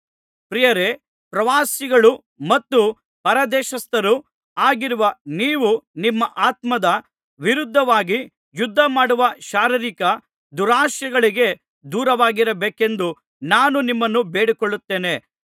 ಪ್ರಿಯರೇ ಪ್ರವಾಸಿಗಳು ಮತ್ತು ಪರದೇಶಸ್ಥರು ಆಗಿರುವ ನೀವು ನಿಮ್ಮ ಆತ್ಮದ ವಿರುದ್ಧವಾಗಿ ಯುದ್ಧ ಮಾಡುವ ಶಾರೀರಿಕ ದುರಾಶೆಗಳಿಗೆ ದೂರವಾಗಿರಬೇಕೆಂದು ನಾನು ನಿಮ್ಮನ್ನು ಬೇಡಿಕೊಳ್ಳುತ್ತೇನೆ